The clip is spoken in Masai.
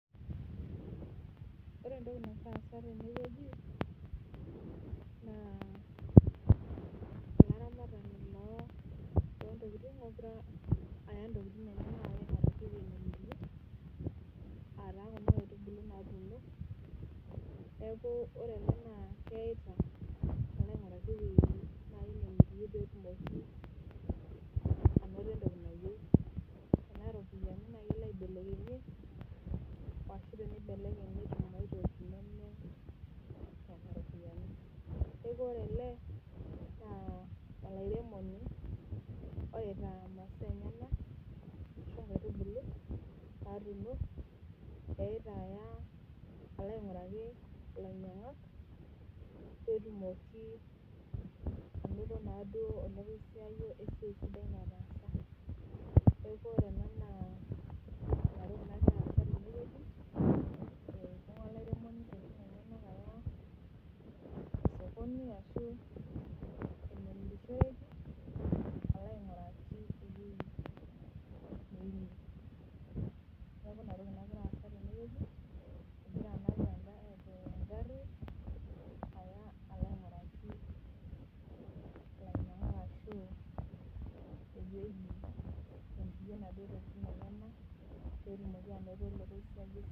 ore entoki nagira aasa teneweji naa olaramatani loo itokitin egira aya intokitin enyanak neeku ore ele naa keita alo aing'uraki eweji nemirie pee etumoki anato entoki nayieu tenaa iropiyani naa kelo aibelekenyakinye ashu teneibelekeny netum aitoki neme nena ropiyiani neeku ore ele ,ore etaa imasaa enyanak pee etumoki anato ole kosiayiolesiai nataasa , etudumua olairemoni intokitin enyanak alo aing'uraki enemirie neeku inatoki nagira aasa teneweji.